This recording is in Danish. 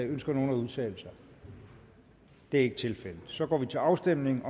ønsker nogen at udtale sig det er ikke tilfældet så går vi til afstemning